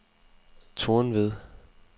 Tornved